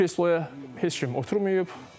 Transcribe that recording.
Hələlik o kresloya heç kim oturmayıb.